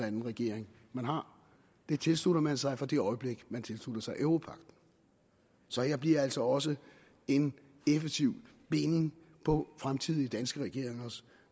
anden regering man har det tilslutter man sig fra det øjeblik man tilslutter sig europagten så her bliver altså også en effektiv binding på fremtidige danske regeringers